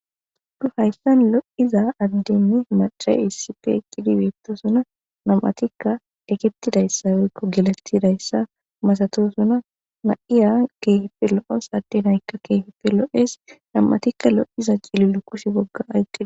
Nu hayssan lo'iza addenne macay issipfe eqqidi beettosunna nam'atikka eketidayssa wikko gelatidayssa masatosuna na'iya keeheppe lo'e sadde naykka keeheppe lo'es nam'atikka lo'iza cililo kushe bogga ayqqid.